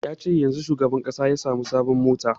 Ya ce yanzun shugaban ƙasa ya sami sabon mota